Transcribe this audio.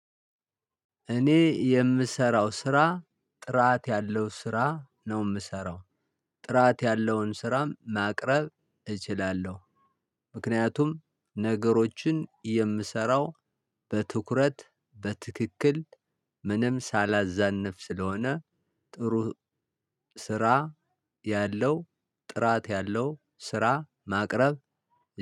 እኔ የምሰራው ስራ ጥራት ያለው ስራ ነው የምሰራው ጥራት ያለውን ስራም ማቅረብ እችላለሁ። ምከንያቱም ነገሮችን የምሰራው በትኩረት በትክክል ምንም ሳላዛንፍ ስለሆነ ጥሩ ስራ ያለው ጥራት ያለው ስራ ማቅረብ።